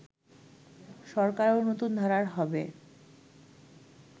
সরকারও নতুন ধারার হবে